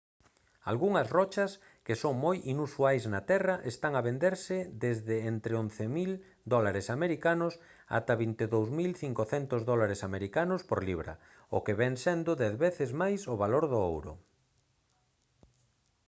algunhas rochas que son moi inusuais na terra están a venderse desde entre 11 000 usd ata 22 500 usd por libra o que vén sendo dez veces máis o valor do ouro